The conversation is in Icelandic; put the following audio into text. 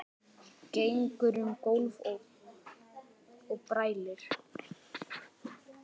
Gengur um gólf og brælir.